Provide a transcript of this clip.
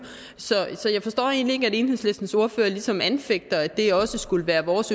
så jeg forstår egentlig ikke at enhedslistens ordfører ligesom anfægter at det også skulle være